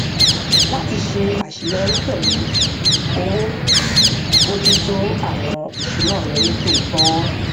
láti ṣe àṣeyọrí pẹlú owó bójútó àwọn ìṣúná rẹ nítòótọ